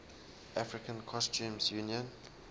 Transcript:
african customs union